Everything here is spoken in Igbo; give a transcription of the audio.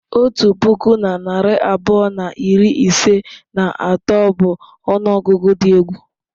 Otu puku na narị abụọ na iri ise na atọ bụ ọnụọgụgụ dị egwu.